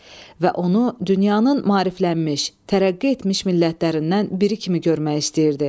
Və onu dünyanın maariflənmiş, tərəqqi etmiş millətlərindən biri kimi görmək istəyirdi.